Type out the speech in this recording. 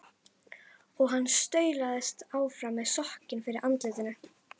Og hann staulaðist áfram með sokkinn fyrir andlitinu.